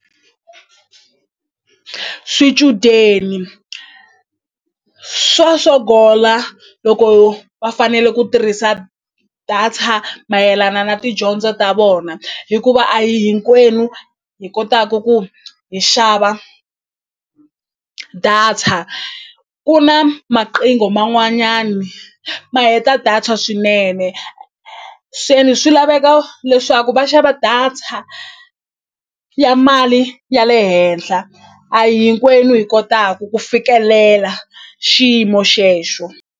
Swichudeni swa sogola loko va fanele ku tirhisa data mayelana na tidyondzo ta vona hikuva a hi hinkwenu hi kotaku ku hi xava data ku na maqingo man'wanyani ma heta data swinene se ni swi laveka leswaku va xava data ya mali ya le henhla a hinkwenu hi kotaku ku fikelela xiyimo xexo.